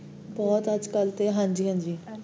ਬਹੁਤ ਅਜਕਲ ਤੇ, ਹਾਂਜੀ, ਹਾਂਜੀ